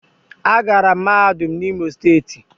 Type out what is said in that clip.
Agara m mahadum na imo steeti